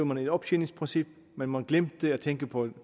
man et optjeningsprincip men man glemte at tænke på